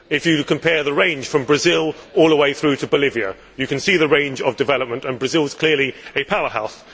If you compare the range from Brazil all the way through to Bolivia you can see the range of development, and Brazil is clearly a power house.